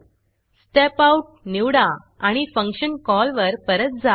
step Outस्टेप out निवडा आणि फंक्शन कॉलवर परत जा